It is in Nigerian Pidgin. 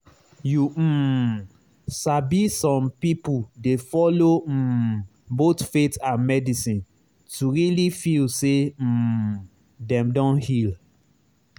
you um sabi some people dey follow um both faith and medicine to really feel say um dem don heal.